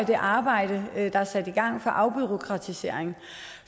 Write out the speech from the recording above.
det arbejde der er sat i gang for afbureaukratisering